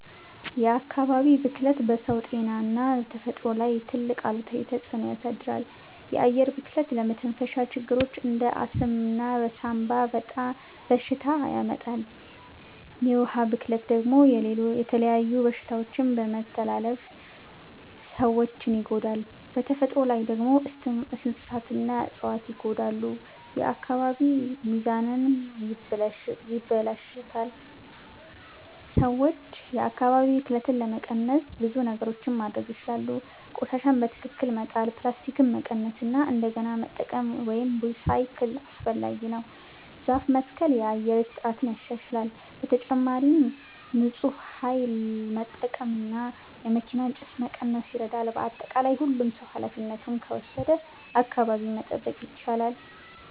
የአካባቢ ብክለት በሰው ጤና እና በተፈጥሮ ላይ ትልቅ አሉታዊ ተፅዕኖ ያሳድራል። የአየር ብክለት ለመተንፈሻ ችግሮች እንደ አስም እና ሳንባ በሽታ ያመጣል። የውሃ ብክለት ደግሞ የተለያዩ በሽታዎችን በመተላለፍ ሰዎችን ይጎዳል። በተፈጥሮ ላይ ደግሞ እንስሳትና እፅዋት ይጎዳሉ፣ የአካባቢ ሚዛንም ይበላሽታል። ሰዎች የአካባቢ ብክለትን ለመቀነስ ብዙ ነገሮች ማድረግ ይችላሉ። ቆሻሻን በትክክል መጣል፣ ፕላስቲክን መቀነስ እና እንደገና መጠቀም (recycle) አስፈላጊ ነው። ዛፍ መትከል የአየር ጥራትን ያሻሽላል። በተጨማሪም ንፁህ ኃይል መጠቀም እና የመኪና ጭስ መቀነስ ይረዳል። በአጠቃላይ ሁሉም ሰው ኃላፊነቱን ከወሰደ አካባቢን መጠበቅ ይቻላል።